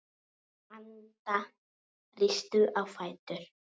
Anda, rístu á fætur.